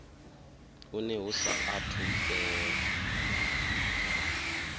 une hu sa athu fhela